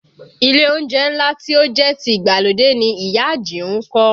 Ilé oúnjẹ ńlá tí ó jẹ́ ti ìgbàlódé ni ìyá Àjìún kọ́